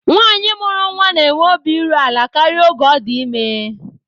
Nwaanyi mụrụ nnwa na-enwe obi iru ala karịa oge ọ dị ime